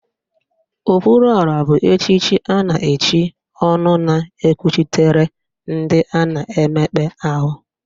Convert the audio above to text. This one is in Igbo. Okwuruọra bụ echiche a na-echi ọnụ na-ekwuchitere ndị a na-emekpa ahụ